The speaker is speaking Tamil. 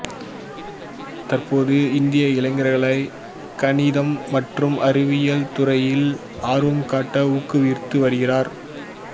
தற்போது இந்திய இளைஞர்களை கணிதம் மற்றும் அறிவியல் துறைகளில் ஆர்வம் காட்ட ஊக்குவித்து வருகிறார்